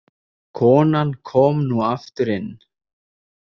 Konan kom nú aftur inn.